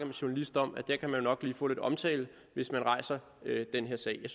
en journalist om at man nok kan få lidt omtale hvis man rejser den her sag